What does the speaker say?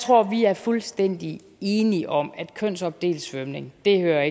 tror vi er fuldstændig enige om at kønsopdelt svømning ikke hører